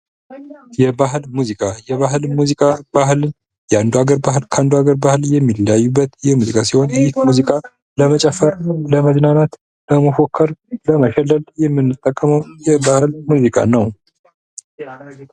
የባህል ሙዚቃ:- የባህል ሙዚቃ የአንዱ አገር ባህል ከአንዱ አገር ባህል የሚለያዩበት የሙዚቃ ሲሆን ይህ ሙዚቃ ለመጨፈር፣ ለመዝናናት፣ ለመፎከር፣ ለመሸለል የምንጠቀመዉ የባህል ሙዚቃ ነዉ።